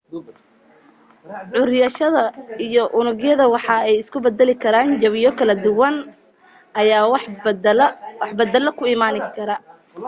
curiyayaasha iyo unugyada waxa ay isku badali karaan jawiyo kala duwan ayaa wax badala ku imaan